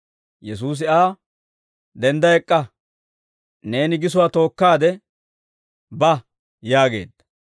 Yesuusi Aa, «Dendda ek'k'a; neeni gisowaa tookkaade ba» yaageedda.